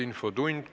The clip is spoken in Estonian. Infotund.